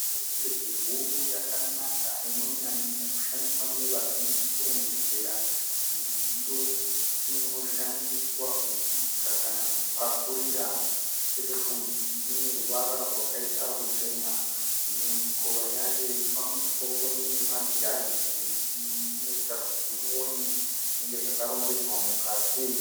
Sherefu huru yakanaka inonyanya kushandiswa nevazhinji kurongedzera mudziyo unoshandiswa kubika kana kupakurira. Sherefu iyi ine ruvara rwakaita ruchena. Mimwe mikova yayo yepamusoro ine magirazi inoita kuti uone zvinenge zvakarongedzerwa mukati.